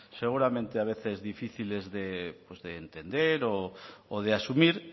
seguramente a veces difíciles pues de entender o de asumir